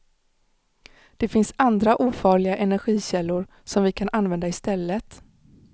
Det finns andra ofarliga energikällor som vi kan använda i stället.